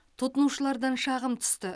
тұтынушылардан шағым түсті